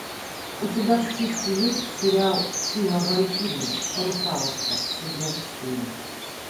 у тебя в списке есть сериал сила валькирии русалочка сезон четыре